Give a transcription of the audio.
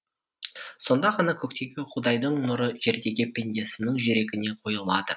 сонда ғана көктегі құдайдың нұры жердегі пендесінің жүрегіне құйылады